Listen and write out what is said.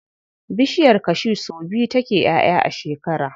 Bishiyar cashew sau biyu take ƴaʼƴa a shekara.